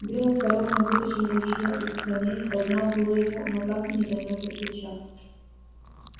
билл осторожно вытащил ружье из саней поднял было его но так и не донёс до плеча